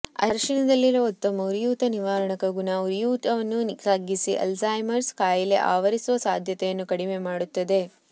ಅರಿಶಿನದಲ್ಲಿರುವ ಉತ್ತಮ ಉರಿಯೂತ ನಿವಾರಕ ಗುಣ ಉರಿಯೂತವನ್ನು ತಗ್ಗಿಸಿ ಆಲ್ಜೀಮರ್ಸ್ ಕಾಯಿಲೆ ಆವರಿಸುವ ಸಾಧ್ಯತೆಯನ್ನು ಕಡಿಮೆ ಮಾಡುತ್ತದೆ